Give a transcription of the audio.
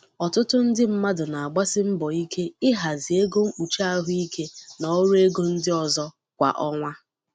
Ọtụtụ ndị mmadụ na-agbasi mbọ ike ịhazi ego mkpuchi ahụike na ọrụ ego ndị ọzọ kwa ọnwa.